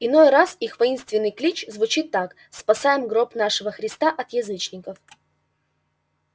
иной раз их воинственный клич звучит так спасаем гроб нашего христа от язычников